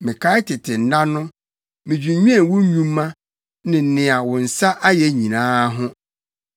Mekae tete nna no; midwinnwen wo nnwuma ne nea wo nsa ayɛ nyinaa ho.